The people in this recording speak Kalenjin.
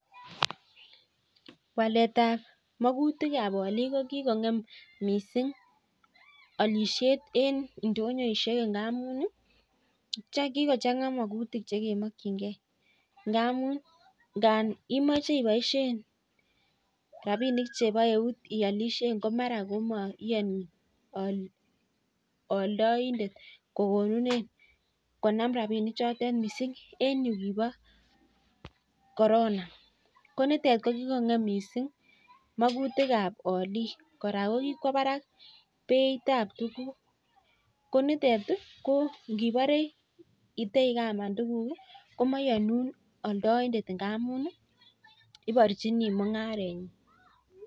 Walet ab makutik ab alik ko kikongem missing alishet eng indonyoishek ngamuu imechee ibaishei rabinik cheboo eut komeanii aldaindet konam rabinik ab eut missing ko yikiboo (corona)